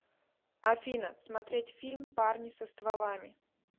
афина смотреть фильм парни со стволами